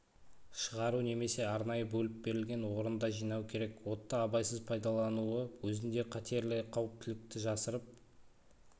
шығару немесе арнайы бөліп берілген орында жинау керек отты абайсыз пайдалануы өзінде қатерлі қауіптілікті жасырып